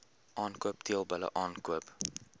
aankoop teelbulle aankoop